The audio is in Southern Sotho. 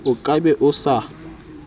o ka be o sa